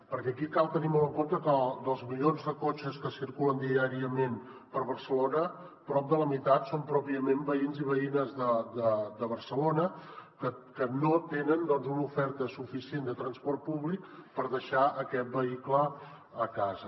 perquè aquí cal tenir molt en compte que dels milions de cotxes que circulen diàriament per barcelona prop de la meitat són pròpiament veïns i veïnes de barcelona que no tenen una oferta suficient de transport públic per deixar aquest vehicle a casa